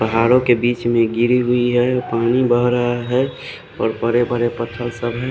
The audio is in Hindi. पहाड़ों के बीच में गिरी हुई है पानी बह रहा है और बड़े बड़े पत्थर सब है।